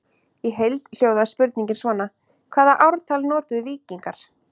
Í heild hljóðaði spurningin svona: Hvaða ártal notuðu víkingar?